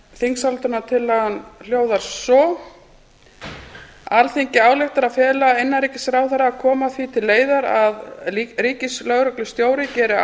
þingsályktunartillagan hljóðar svo alþingi ályktar að fela innanríkisráðherra að koma því til leiðar að ríkislögreglustjóri geri